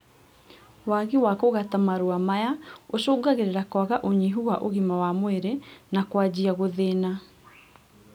Waagi wa ũgati wa marũa maya, ũcũngagĩrĩria kwaga ũnyihu wa ũgima wa mwĩrĩ na kwanjia gũthĩna